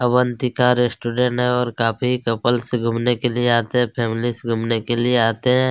Avantika restaurant है और काफी कपलस घूमने के लिए आते है फैमिलीस घूमने के लिए आते है।